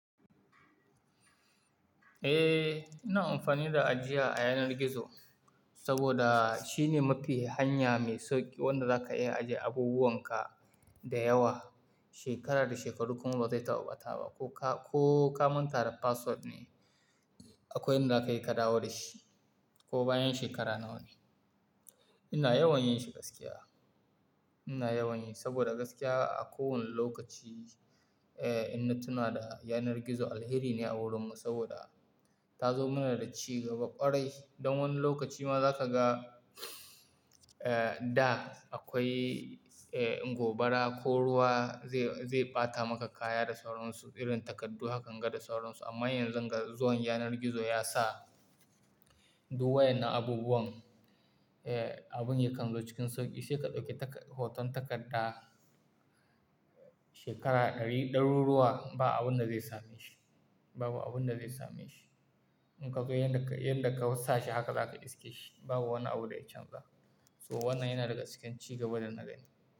Eh, ina amfani da ajiya a yanar gizo saboda shine mafi hanya mai sauƙi wanda za ka iya ajiye abubuwan ka da yawa, shekara da shekaru kuma ba zai taɓa ɓata ba ko ka manta da password ne akwai inda ka yi kadawo da shi ko bayan shekara nawa ne. Ina yawan yin shi gaskiya, ina yawan yi saboda gaskiya a kowane lokaci, eh, inna tuna da yanar gizo alheri ne a wurin mu saboda ta zo mana da ci gaba ƙwarai. Don wani lokaci ma za ka ga, eh, da akwai, eh, gobara ko ruwa zai, zai ɓata maka kaya da sauran su, irin takardu hakan ga da sauran su amma yanzu ga zuwan yanar gizo ya sa duk wayan na abubuwan, eh, abun ya kallo cikin sauƙi. Sai ka ɗauki tak-- hoton takarda shekara ɗari, ɗaruruwa ba abun da zai same shi, babu abun da zai same shi. In ka zo yanda ka, yanda ka sa shi haka za ka ɗiske shi babu wani abu da ya canza. So wannan yana daga cikin ci gaba da na gani.